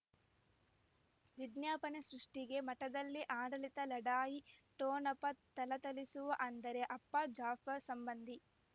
ವಿಜ್ಞಾಪನೆ ಸೃಷ್ಟಿಗೆ ಮಠದಲ್ಲಿ ಆಡಳಿತ ಲಢಾಯಿ ಠೊಣಪ ಥಳಥಳಿಸುವ ಅಂದರೆ ಅಪ್ಪ ಜಾಫರ್ ಸಂಬಂಧಿ